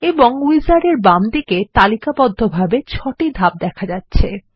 এবং উইজার্ড এর বাম দিকেতালিকাবদ্ধভাবে ৬ টিধাপ দেখা যাচ্ছে